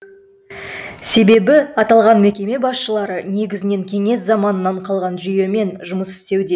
себебі аталған мекеме басшылары негізінен кеңес заманынан қалған жүйемен жұмыс істеуде